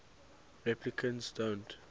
replicants don't